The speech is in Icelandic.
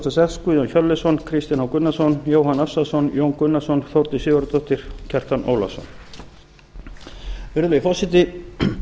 og sex guðjón hjörleifsson kristinn h gunnarsson jóhann ársælsson jón gunnarsson þórdís sigurðardóttir kjartan ólafsson virðulegi forseti